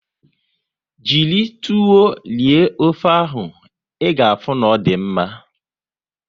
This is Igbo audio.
Jiri tuwo rie ofe ahụ, ị ga afụ na ọ dị mma